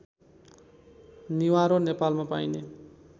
निवारो नेपालमा पाइने